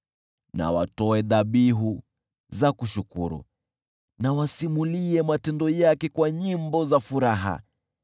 Na watoe dhabihu za kushukuru, na wasimulie matendo yake kwa nyimbo za furaha.